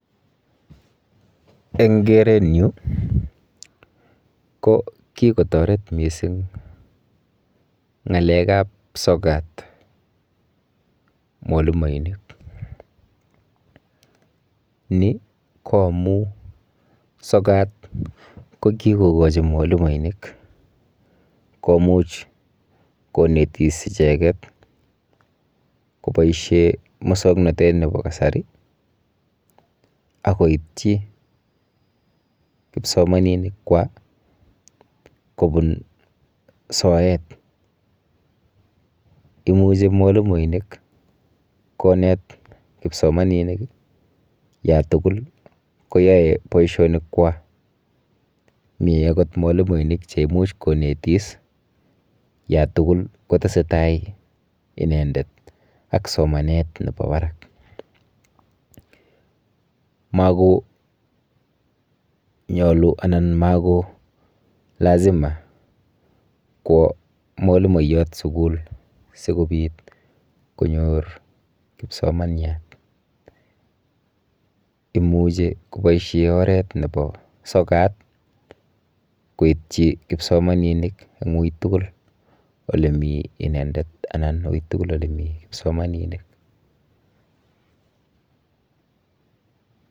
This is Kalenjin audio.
Eng kerenyu ko kikotoret mising ng'alekap sokat mwalimoinik. Ni ko amu sokat ko kikokochi mwalimoinik komuch konetis icheket koboishe musoknotet nepo kasari akoitchi kipsomaninikwa kobun soet. Imuchi mwalimoinik konet kipsomaninik yatugul koyoe boishonikwa, mi akot mwalimoinik cheimuch konetis yatugul kotesetai inendet ak somanet nepo berak. Makonyolu anan mako lazima kwo mwalimoiyot sukul sikobit konyor kipsomanyat. Imuchi koboishe oret nepo sokat koitchi kipsomaninik eng ui tugul olemi inendet anan ui tugul olemi kipsomaninik.